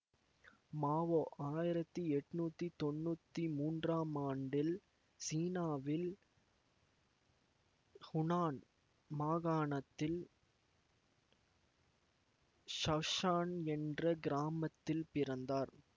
மாவோ ஆயிரத்தி எட்ணூத்தி தொன்னூத்தி மூன்றாம் ஆண்டில் சீனாவில் ஹூனான் மாகாணத்தின் ஷஷான் என்ற கிராமத்தில் பிறந்தார்